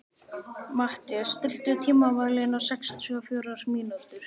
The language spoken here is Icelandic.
Mathías, stilltu tímamælinn á sextíu og fjórar mínútur.